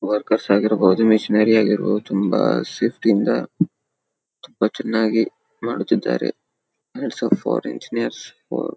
Workers ಆಗಿರಬಹುದು machinery ಆಗಿರಬಹುದು ತುಂಬಾ ಸೇಫ್ಟಿ ಯಿಂದ ತುಂಬಾ ಚೆನ್ನಾಗಿ ಮಾಡುತ್ತಿದ್ದಾರೆ. Hats off for engineers for --